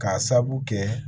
K'a sabu kɛ